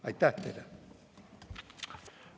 Aitäh teile!